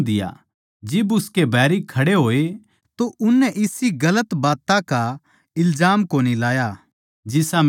जिब उसके बैरी खड़े होए तो उननै इसी गलत बात्तां की इल्जाम कोनी लाई जिसा मै समझूँ था